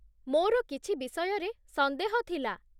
ମୋର କିଛି ବିଷୟରେ ସନ୍ଦେହ ଥିଲା